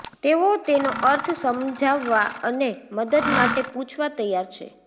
તેઓ તેનો અર્થ સમજાવવા અને મદદ માટે પૂછવા તૈયાર છે